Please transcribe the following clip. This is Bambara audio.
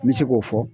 N bɛ se k'o fɔ